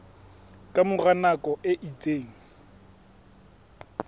ka mora nako e itseng